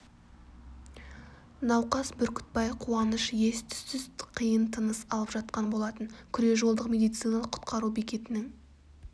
науқас бүркітбай қуаныш ес түссіз қиын тыныс алып жатқан болатын күре жолдық медициналық құтқару бекетінің